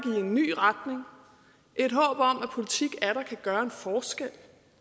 i en ny retning et håb om at politik atter kan gøre en forskel